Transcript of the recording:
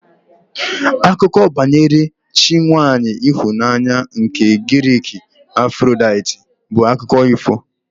Akụkọ banyere chi nwaanyị ịhụnanya nke Giriki Afrodaiti bụ akụkọ ifo